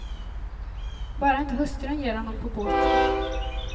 Bara inte hustrun ger honom på båten.